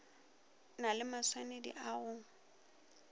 na le maswanedi a go